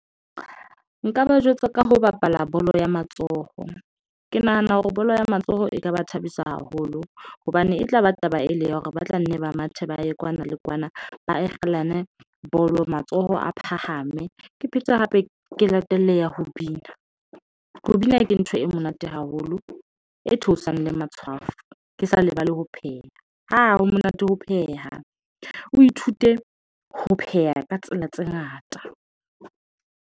Nka ba jwetsa ka ho bapala bolo ya matsoho. Ke nahana hore bolo ya matsoho e ka ba thabisa haholo hobane e tla ba taba e le ya hore ba tla nne ba mathe ba ye kwana le kwana ba a kgelane bolo matsoho a phahame ke phete hape ke latelle ya ho bina, ho bina ke ntho e monate haholo e theosang le matshwafo. Ke sa lebale ho pheha ha ho monate ho pheha, o ithute ho pheha ka tsela tse ngata.